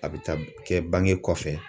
A bɛ taa kɛ bange kɔfɛ